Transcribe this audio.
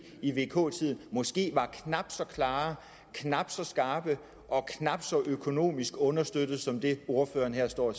i vk tiden måske var knap så klare knap så skarpe og knap så økonomisk understøttede som det ordføreren her står